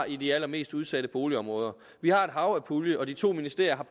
i de allermest udsatte boligområder vi har et hav af puljer og de to ministerier